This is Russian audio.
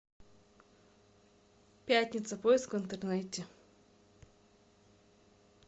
пятница поиск в интернете